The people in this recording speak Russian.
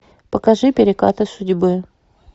покажи перекаты судьбы